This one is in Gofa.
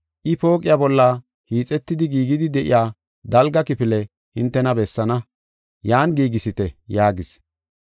I pooqiya bolla hiixetidi giigidi de7iya dalga kifile hintena bessaana, yan giigisite” yaagis.